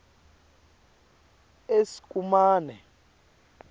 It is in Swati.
eskumane